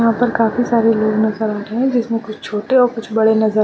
यहां पर काफी सारे लोग नजर आ रहे हैं जिसमें कुछ छोटे और कुछ बड़े नजर --